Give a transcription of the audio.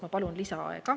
" Ma palun lisaaega.